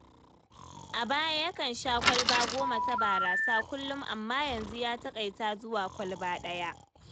A baya, yakan sha kwalba goma ta barasa kullum, amma yanzu ya taƙaita zuwa kwalba ɗaya.